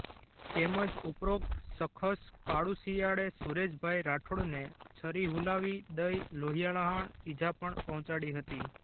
તેમજ ઉપરોક્ત શખસ કાળુ શિયાળે સુરેશભાઈ રાઠોડને છરી હૂલાવી દઈ લોહિયાળ ઈજા પણ પહોંચાડી હતી